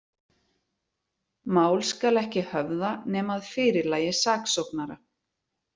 Mál skal ekki höfða, nema að fyrirlagi saksóknara.